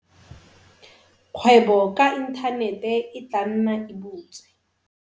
Kgwebo ka inthanete e tla nna e butswe.